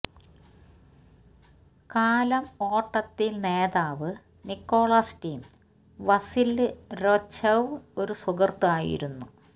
കാലം ഓട്ടത്തിൽ നേതാവ് നിക്കോളാസ് ടീം വസില്യ് രൊഛെവ് ഒരു സുഹൃത്ത് ആയിരുന്നു